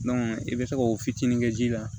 i bɛ se k'o fitinin kɛ ji la